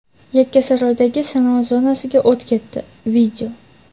Yakkasaroydagi sanoat zonasiga o‘t ketdi.